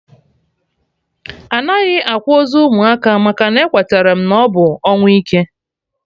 Anaghị akwa ozu ụmụaka maka na-ekweterem na ọ bụ ọnwụ ike